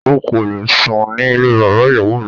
O kò le sùn ní ilé bàbá ìyàwó rẹ.